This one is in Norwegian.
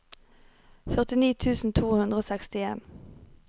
førtini tusen to hundre og sekstien